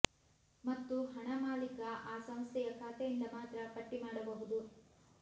ಮತ್ತು ಹಣ ಮಾಲೀಕ ಆ ಸಂಸ್ಥೆಯ ಖಾತೆಯಿಂದ ಮಾತ್ರ ಪಟ್ಟಿ ಮಾಡಬಹುದು